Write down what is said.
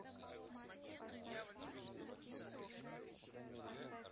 посоветуй мне бэтмен и супермен